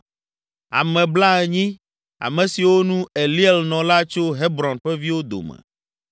Ame blaenyi, ame siwo nu, Eliel nɔ la tso Hebron ƒe viwo dome,